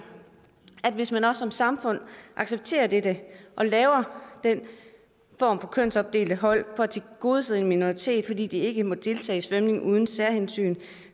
at hvis man som samfund accepterer dette og laver den form for kønsopdelte hold for at tilgodese en minoritet fordi de ikke må deltage i svømning uden særhensyn